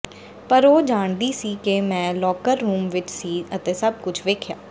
ਪਰ ਉਹ ਜਾਣਦੀ ਸੀ ਕਿ ਮੈਂ ਲੌਕਰ ਰੂਮ ਵਿੱਚ ਸੀ ਅਤੇ ਸਭ ਕੁਝ ਵੇਖਿਆ